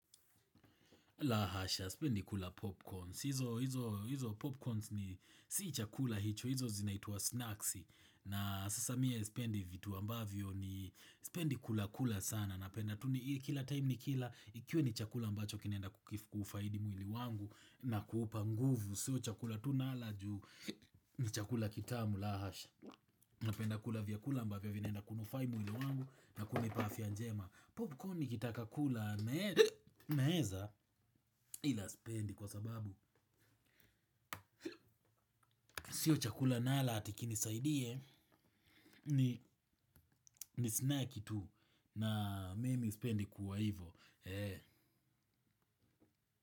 La hasha, sipendi kula popcorns hizo popcorns si chakula hicho. Hizo zinaitwa snacks. Na sasa mimi spendi vitu ambavyo sipendi kula kula sana. Napenda tu kila time nikila kiwe ni chakula ambacho kinaenda kufaidi mwili wangu. Na kuupa nguvu sio chakula tu nala juu ni chakula kitamu. La hasha! Napenda kula vyakula ambavyo vinaenda kunufaa mwili wangu na kunipa afya njema. Popcorn nikitaka kula naweza, ila sipendi kwa sababu sio chakula nala ati kinisaidie ni snack tu. Na mimi spendi kuwa hivo.